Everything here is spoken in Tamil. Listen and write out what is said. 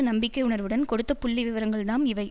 நம்பிக்கை உணர்வுடன் கொடுத்த புள்ளிவிவரங்கள்தாம் இவை